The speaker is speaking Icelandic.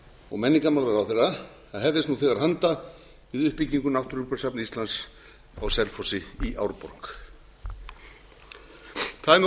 og menningarmálaráðherra að hefjast nú þegar handa við uppbygginu náttúrugripasafns íslands á selfossi í árborg það er með